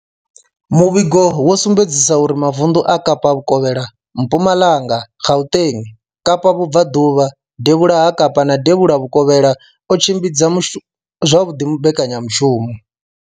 Muvhigo wo sumbedzisa uri mavundu a Kapa vhukovhela, Mpumalanga, Gauteng, Kapa vhubvaḓuvha, devhula ha Kapa na devhula vhukovhela o tshimbidza zwavhuḓi mbekanyamushumo.